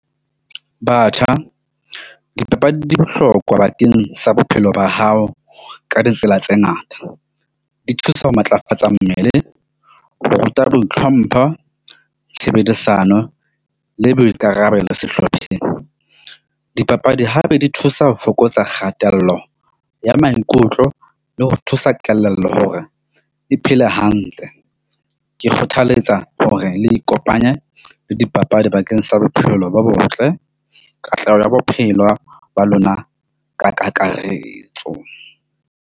Batjha, dipapadi di bohlokwa bakeng sa bophelo ba hao ka ditsela tse ngata, di thusa ho matlafatsa mmele o ruta boitlhompho, tshebedisano le boikarabelo sehlopheng. Dipapadi hape di thusa ho fokotsa kgatello ya maikutlo le ho thusa kelello hore e phele hantle. Ke kgothaletsa hore le ikopanye le dipapadi bakeng sa bophelo bo botle katleho ya bophelo ba lona ka kakaretso.